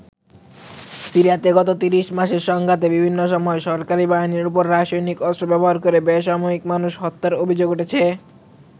সিরিয়াতে গত ৩০ মাসের সংঘাতে বিভিন্ন সময় সরকারি বাহিনীর ওপর রাসায়নিক অস্ত্র ব্যবহার করে বেসামরিক মানুষ হত্যার অভিযোগ উঠেছে।